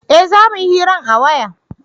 eh za muyi hiran a waya